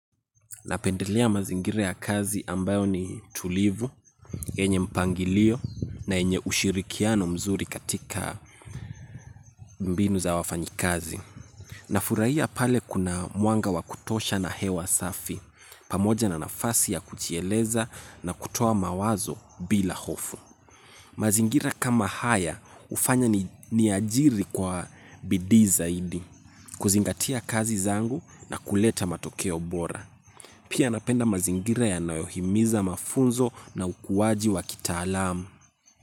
Napendelea mazingira ya kazi ambayo ni tulivu, yenye mpangilio na yenye ushirikiano mzuri katika mbinu za wafanyikazi. Nafurahia pale kuna mwanga wa kutosha na hewa safi, pamoja na nafasi ya kujieleza na kutoa mawazo bila hofu. Mazingira kama haya hufanya niajiri kwa bidii zaidi, kuzingatia kazi zangu na kuleta matokeo bora. Pia napenda mazingira yanayohimiza mafunzo na ukuaji wa kitaalamu.